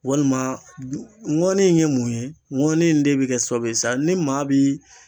Walima ŋɔni in ye mun ye ŋɔni in de be kɛ sababu ye sa ni maa b'i